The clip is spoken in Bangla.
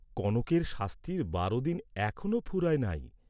কনকের শাস্তির বারো দিন এখনও ফুরায় নাই।